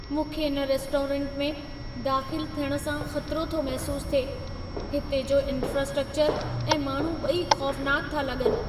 मूंखे इन रेस्टोरेंट में दाख़िल थियण सां ख़तिरो थो महसूसु थिए। हिते जो इंफ्रास्ट्रकचर ऐं माण्हू ॿई ख़ौफनाक था लॻनि।